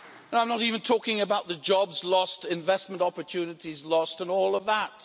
I'm not even talking about the jobs lost, the investment opportunities lost and all of that.